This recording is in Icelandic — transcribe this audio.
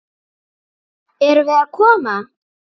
Erum við að koma?